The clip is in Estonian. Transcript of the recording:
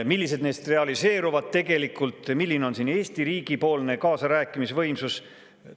Millised neist realiseeruvad tegelikult, milline on Eesti riigi kaasarääkimise võimsus?